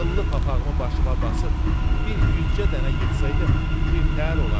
Qıllı papağımı başıma basıb bir yüzcə dənə yığsaydım bir təhər olardım.